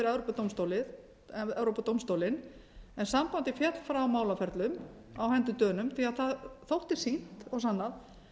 málið fyrir evrópudómstólinn en sambandið féll frá málaferlum á hendur dönum því það þótti sýnt og sannað